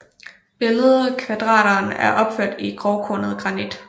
Billedkvaderen er opført i grovkornet granit